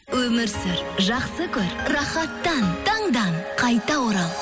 өмір сүр жақсы көр рахаттан таңдан қайта орал